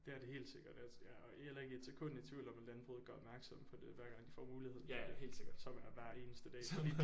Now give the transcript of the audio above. Det er det helt sikkert og jeg jeg er heller ikke et sekund i tvivl om at landbruget gør opmærksom på det hver gang de får muligheden som er hver eneste dag